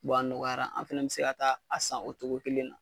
a nɔgɔyara, an fɛnɛ bɛ se ka taa a san o cogo kelen na